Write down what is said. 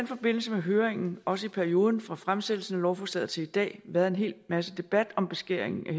forbindelse med høringen også i perioden fra fremsættelsen af lovforslaget til i dag været en hel masse debat om beskæringen af